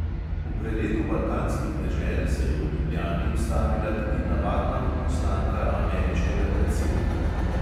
V preletu balkanskih dežel se je v ljubljani ustavila tudi navadna odposlanka ameriškega predsednika.